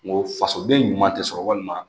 Ngo fasoden ɲuman tɛ sɔrɔ walima